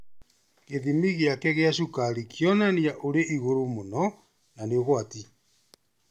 Gĩthimi gĩake gĩa cukari kĩonania ũrĩ igũrũ mũno na nĩ ũgwati